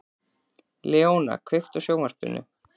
Leóna, kveiktu á sjónvarpinu.